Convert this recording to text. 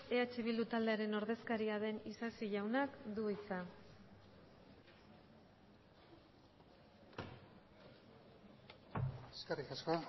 eh bildu taldearen ordezkaria den isasi jaunak du hitza eskerrik asko